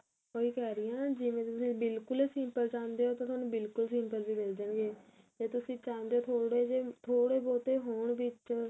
ਉਹੀ ਕਹਿ ਰਹੀ ਹਾਂ ਜਿਵੇਂ ਤੁਸੀਂ ਬਿਲਕੁਲ simple ਚਾਉਂਦੇ ਓ ਤਾਂ ਤੁਹਾਨੂੰ ਬਿਲਕੁਲ simple ਵੀ ਮਿਲ ਜਾਣਗੇ ਜੇ ਤੁਸੀਂ ਚਾਉਂਦੇ ਓ ਥੋੜੇ ਜੇ ਥੋੜੇ ਬਹੁਤ ਹੋਣ ਵਿੱਚ